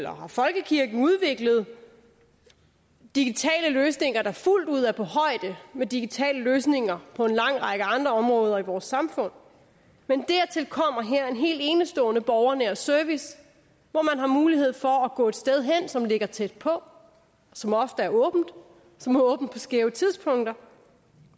har folkekirken udviklet digitale løsninger der fuldt ud er på højde med digitale løsninger på en lang række andre områder i vores samfund men dertil kommer her en helt enestående borgernær service hvor man har mulighed for at gå et sted hen som ligger tæt på som ofte er åbent som har åbent på skæve tidspunkter